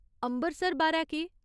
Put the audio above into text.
अम्बरसर बारै केह्?